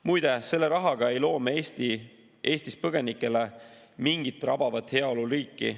Muide, selle rahaga ei loo me Eestis põgenikele mingit rabavat heaoluriiki.